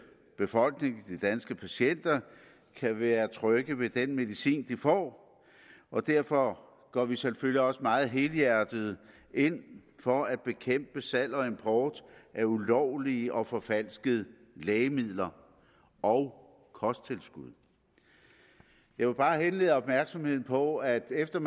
befolkning de danske patienter kan være trygge ved den medicin de får og derfor går vi selvfølgelig også meget helhjertet ind for at bekæmpe salg og import af ulovlige og forfalskede lægemidler og kosttilskud jeg vil bare henlede opmærksomheden på at efter